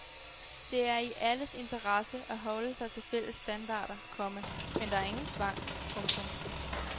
Det er i alles interesse at holde sig til fælles standarder, komma men der er ingen tvang. punktum